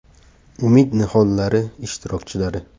“Umid nihollari” ishtirokchilari.